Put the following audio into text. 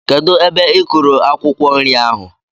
Kedụ ebe i kúrú akwukwo nri ahụ?